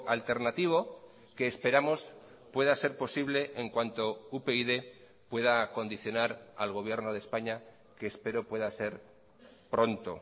alternativo que esperamos pueda ser posible en cuanto upyd pueda condicionar al gobierno de españa que espero pueda ser pronto